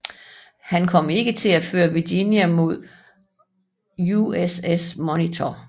Han kom ikke til at føre Virginia mod USS Monitor